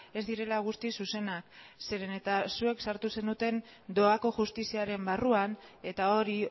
ez direla guztiz zuzenak zeren eta zuek sartu zenuten doako justiziaren barruan eta hori